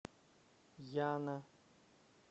яна